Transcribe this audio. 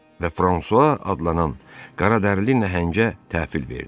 Və Fransua adlanan qaradərili nəhəngə təhvil verdi.